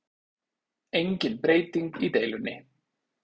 Engin breyting í deilunni